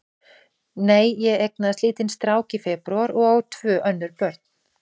Nei, ég eignaðist lítinn strák í febrúar og á tvö önnur börn.